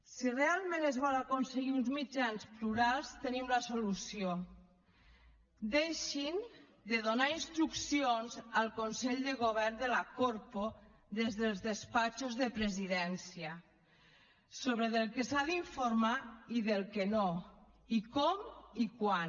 si realment es vol aconseguir uns mitjans plurals tenim la solució deixin de donar instruccions al consell de govern de la corpo des dels despatxos de presidència del que s’ha d’informar i del que no i com i quan